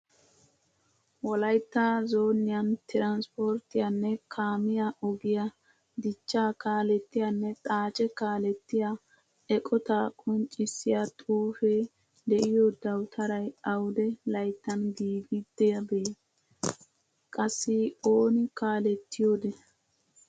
Wolaytta zooniyan tiranspporttiyanne kaamiyaa ogiyaa dichchaa kaallettiyanne xaacce kaalettiyaa eqqotaa qonccisya xuufe deiyo dawuttaray awude layttan giigidabe? Qassi ooni kaalettiyode?